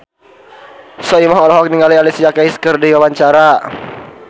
Soimah olohok ningali Alicia Keys keur diwawancara